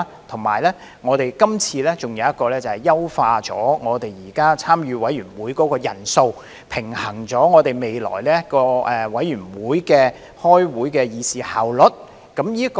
此外，我們今次有一項修訂，是為優化現時參與委員會的人數，平衡未來委員會開會時的議事效率。